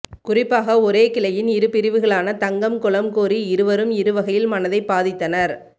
குறிப்பாக ஒரே கிளையின் இருபிரிவுகளான தங்கம் குளம்கோரி இருவரும் இருவகையில் மனதைப்பாதித்தனர்